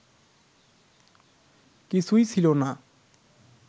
কিছুই ছিল না